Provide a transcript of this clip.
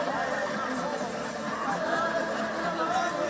Qarabağ!